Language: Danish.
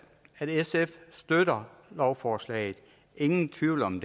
at sf støtter lovforslaget ingen tvivl om